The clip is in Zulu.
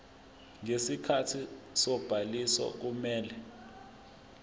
ngesikhathi sobhaliso kumele